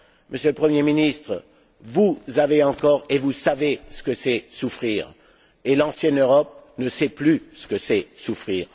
Monsieur le Premier ministre, vous avez encore souffert, et vous savez ce qu'est souffrir. L'ancienne Europe ne sait plus ce qu'est souffrir.